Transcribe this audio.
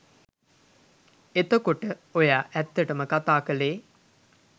එතකොට ඔයා ඇත්තටම කතා කළේ